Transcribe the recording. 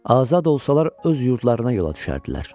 Azad olsalar öz yurdlarına yola düşərdilər.